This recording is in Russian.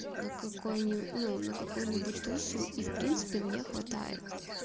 на какой не ну на какую нибудь тусу и в принципе мне хватает